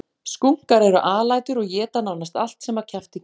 Skunkar eru alætur og éta nánast allt sem að kjafti kemur.